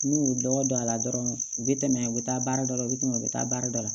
N'u y'u lɔgɔ don a la dɔrɔn u bɛ tɛmɛ u bɛ taa baara dɔ la u bɛ tɛmɛ u bɛ taa baara dɔ la